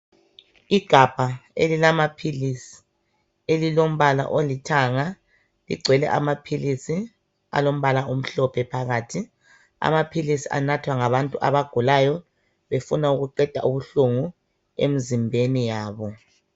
Igabha elilamaphilisi, elilombala olithanga ligcwele amaphilisi alombala omhlophe phakathi. Amaphilisi anathwa ngabantu abagulayo befuna ukuqeda ubuhlungu emzimbeni yabo.